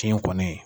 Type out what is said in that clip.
Tiɲɛ kɔni